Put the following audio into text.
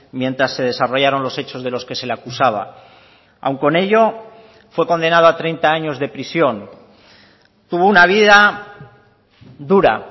mientras se desarrollaron los hechos de los que se le acusaba aun con ello fue condenado a treinta años de prisión tuvo una vida dura